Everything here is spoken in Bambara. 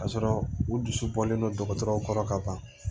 K'a sɔrɔ u dusu bɔlen don dɔgɔtɔrɔw kɔrɔ ka ban